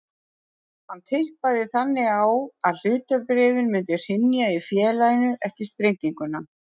Hann tippaði þannig á að hlutabréfin myndu hrynja í félaginu eftir sprenginguna.